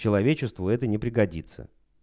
человечеству это не пригодится